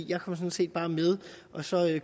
jeg kom sådan set bare med og så